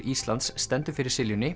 Íslands stendur fyrir